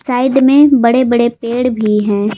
Side में बड़े बड़े पेड़ भी हैं।